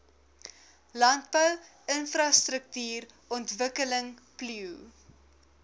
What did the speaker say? landbou infrastruktuurontwikkeling plio